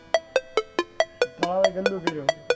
તળાવ એ ગંદુ કર્યું?